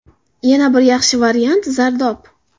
Yana bir yaxshi variant – zardob.